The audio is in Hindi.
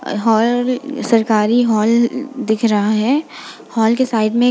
अ हॉल सरकारी हाल दिख रहा है। हाल के साइड में एक --